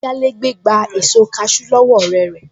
Ayálégbé gba èso kaṣú lọ́wọ́ ọ̀rẹ́ rẹ̀